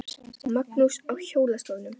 Magnús: Á hjólastólnum?